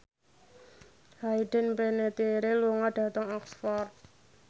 Hayden Panettiere lunga dhateng Oxford